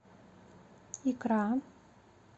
икра